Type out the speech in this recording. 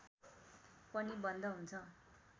पनि बन्द हुन्छ